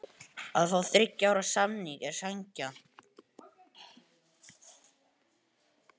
Að fá þriggja ára samning er sanngjarnt.